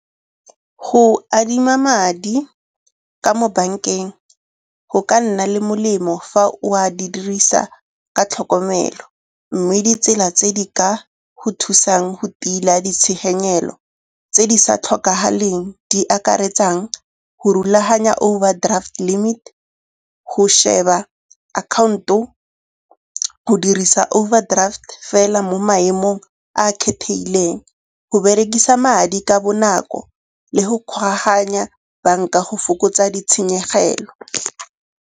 Go adima madi ka mo bankeng go ka nna le molemo fa o a dirisa ka tlhokomelo. Mme ditsela tse di ka go thusang go tila ditshenyegelo tse di sa tlhokagaleng di akaretsang go rulaganya overdraft limit, go sheba akhaonto, go dirisa overdraft fela mo maemong a a kgethegileng, go berekisa madi ka bonako le go kgoaganya banka go fokotsa ditshenyegelo.